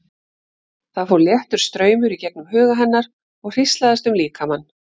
Það fór léttur straumur í gegnum huga hennar og hríslaðist um líkamann.